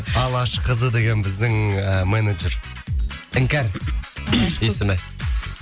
алашқызы деген біздің ы менеджер іңкәр есімі